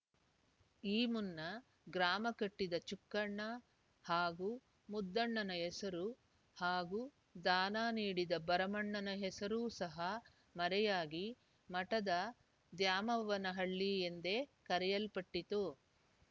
ಈ ಮುನ್ನ ಗ್ರಾಮ ಕಟ್ಟಿದ ಚುಕ್ಕಣ್ಣ ಹಾಗೂ ಮುದ್ದಣ್ಣನ ಹೆಸರು ಹಾಗೂ ದಾನ ನೀಡಿದ ಭರಮಣ್ಣನ ಹೆಸರೂ ಸಹ ಮರೆಯಾಗಿ ಮಠದ ದ್ಯಾಮವ್ವನಹಳ್ಳಿ ಎಂದೇ ಕರೆಯಲ್ಪಟ್ಟಿತು